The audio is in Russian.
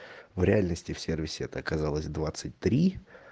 в реальности в сервисе это оказалось двадцать три